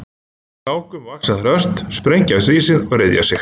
Í hlákum vaxa þær ört, sprengja af sér ísinn og ryðja sig.